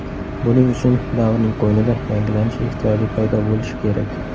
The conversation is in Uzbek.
Buning uchun davrning qo‘ynida yangilanish ehtiyoji paydo bo‘lishi kerak.